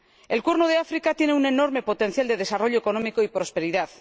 El Cuerno de África tiene un enorme potencial de desarrollo económico y de prosperidad